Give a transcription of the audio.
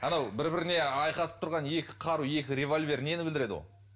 анау бір біріне айқасып тұрған екі қару екі револьвер нені білдіреді ол